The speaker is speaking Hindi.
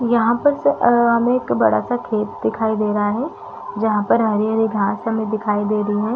यहाँ पर से अ हमे एक बड़ा-सा खेत दिखाई दे रहा है जहाँ पर हरे-हरे घास हमे दिखाई दे रही है।